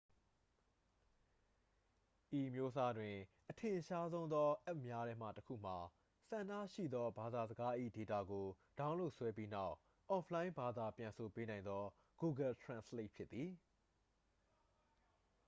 ဤအမျိုးအစားတွင် အထင်ရှားဆုံးသောအက်ပ်များထဲမှတစ်ခုမှာ ဆန္ဒရှိသောဘာသာစကား၏ဒေတာကို ဒေါင်းလုဒ်ဆွဲပြီးနောက် အော့ဖ်လိုင်းဘာသာပြန်ဆိုပေးနိုင်သော google translate ဖြစ်ပါသည်